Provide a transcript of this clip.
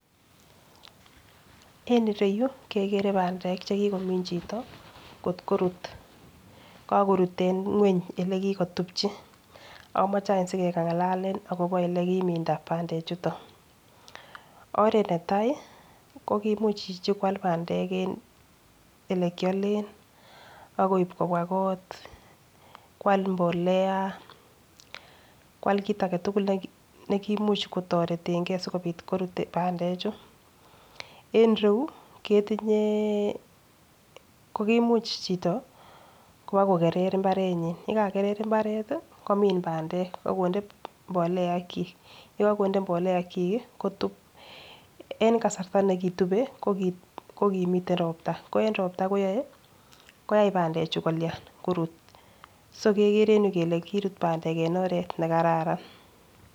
En ireyuu kekere pendek chekikomin chito kotkorut kakorut en ngweny ole kikotupchi, omche anch asikengalalen akobo ole kiminda pandek chuton. Oret netai ko kimuch chichi kwal pandek en olekiodoen ak koib kobwa kot, kwal mbolea kwal kit agetukul nekimuch ketoretengee sikopit korut pandek chuu. En iroyuu keyinyee ko kimuch chito kobakokerer imbarenyin yekakeker imbaret tii komin pandek ak konde mbolea chik kotun, en kasarta nekirue ko kimii ropta ko en ropta koyoe. Koyoe pandek chuu kolian korut so kekere en yuu kole korut pandek en oret nekaran.